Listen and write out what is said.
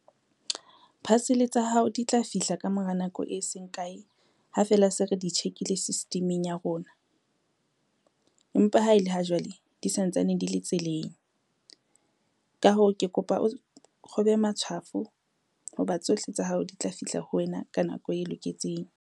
Parcel tsa hao di tla fihla ka mora nako e seng kae ha feela se re di tjhekile system-eng ya rona. Empa ha ele ha jwale di santsane di le tseleng. Ka hoo, ke kopa o kgobe matshwafo ho ba tsohle tsa hao di tla fihla ho wena ka nako e loketseng.